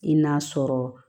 I n'a sɔrɔ